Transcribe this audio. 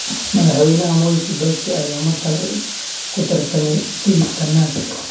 Madaxweyne Mwai Kibaki ayaa mar kale ku tartamay tigidhka NARC.